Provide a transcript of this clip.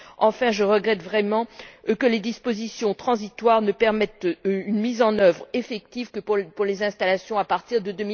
Enfin, je regrette vraiment que les dispositions transitoires ne permettent une mise en œuvre effective pour les installations qu'à partir de